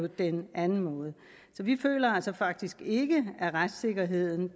den anden måde så vi føler faktisk ikke at retssikkerheden